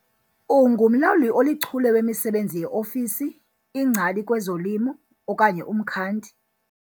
Ungumlawuli olichule wemisebenzi yeofisi, ingcali kwezolimo okanye umkhandi?